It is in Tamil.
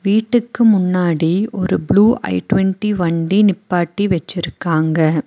வீட்டுக்கு முன்னாடி ஒரு ப்ளூ ஐடொண்ட்டி வண்டி நிப்பாட்டி வெச்சிருக்காங்க.